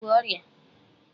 I bú ọrịa!